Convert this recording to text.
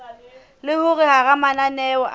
le hore hara mananeo a